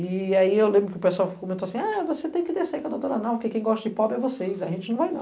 E aí eu lembro que o pessoal comentou assim, ah, você tem que descer com a doutora, que quem gosta de pobre é vocês, a gente não vai não.